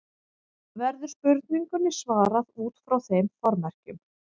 Verður spurningunni svarað út frá þeim formerkjum.